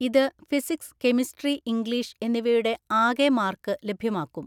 ഇത് physics chemistry English എന്നിവയുടെ ആകെ മാർക്ക് ലഭ്യമാക്കും.